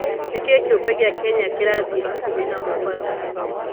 Nĩkĩĩ kĩumbe gĩa Kenya kĩrathiĩ hakuhĩ na Mombatha?